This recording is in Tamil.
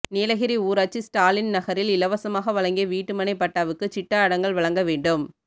நீலகிரி ஊராட்சி ஸ்டாலின் நகரில் இலவசமாக வழங்கிய வீட்டுமனை பட்டாவுக்கு சிட்டா அடங்கல் வழங்க வேண்டும்